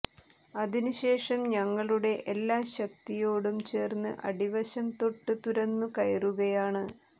അതിനുശേഷം ഞങ്ങളുടെ എല്ലാ ശക്തിയോടും ചേർന്ന് അടിവശം തൊട്ട് തുരന്നു കയറുകയാണ്